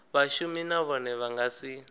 vhashumi nahone vha nga si